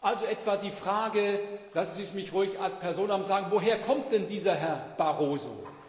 Also etwa die Frage lassen Sie es mich ruhig ad personam sagen Woher kommt denn dieser Herr Barroso?